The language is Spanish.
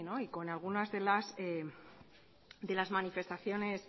y con algunas de las manifestaciones